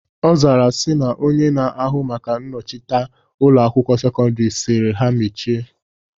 Ọ zara sị na Onye na-ahụ maka nchịkọta Ụlọ akwụkwọ sekọndrị sịrị ha mechie